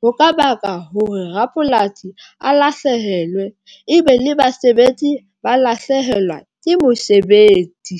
Ho ka baka hore rapolasi a lahlehelwe ebe le basebetsi ba lahlehelwa ke mosebetsi.